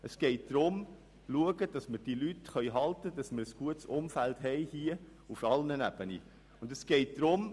Es geht darum, dafür zu sorgen, dass wir diese Leute halten können, sodass wir auf allen Ebenen ein gutes Umfeld haben.